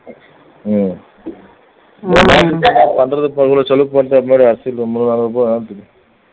உம் பண்றது இவ்வளவு செலவு பண்றதுக்கு முன்னாடி அரிசி